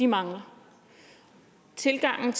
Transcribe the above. mangler tilgangen